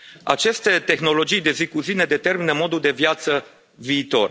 Aceste tehnologii de zi cu zi ne determină modul de viață viitor.